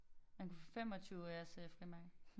Man kunne få 25 øres frimærker